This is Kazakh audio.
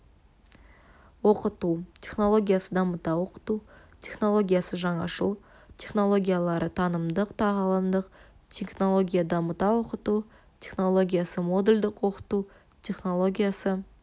оқыту технологиясы дамыта оқыту технологиясы жаңашыл технологиялары танымдық-тағылымдық технология дамыта оқыту технологиясы модульдік оқыту технологиясы